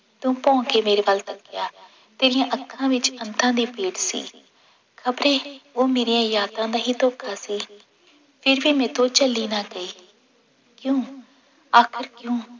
ਤੂੰ ਭੋਂ ਕੇ ਮੇਰੇ ਵੱਲ ਤੱਕਿਆ, ਤੇਰੀਆਂ ਅੱਖਾਂ ਵਿੱਚ ਅੰਤਾਂ ਦੀ ਪੀੜ ਸੀ ਖ਼ਬਰੇ ਉਹ ਮੇਰੀਆਂ ਯਾਦਾਂ ਦਾ ਹੀ ਧੋਖਾ ਸੀ ਫਿਰ ਵੀ ਮੈਥੋਂ ਝੱਲੀ ਨਾ ਗਈ ਕਿਉਂ ਆਖ਼ਿਰ ਕਿਉਂ?